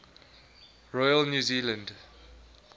royal new zealand